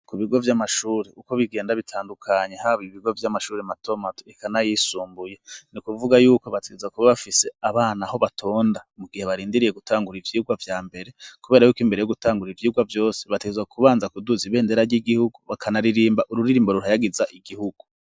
ku bigo vy'amashuri uko bigenda bitandukanye haba ibigo vy'amashuri matomat ikanayisumbuye ni kuvuga yuko bateza kuba bafise abana ho batonda mu gihe barindiriye gutangura ivyigwa vya mbere kubera y'uko imbere yo gutangura ivyigwa byose bateza kubanza kuduza ibendera ry'igihugu bakanaririmba ururirimbo rurayagiza igihugu